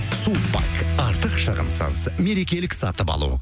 сулпак артық шығынсыз мерекелік сатып алу